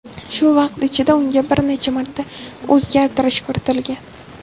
Shu vaqt ichida unga bir necha marta o‘zgartirish kiritilgan.